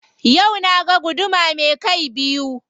Yau na ga guduma me kai biyu.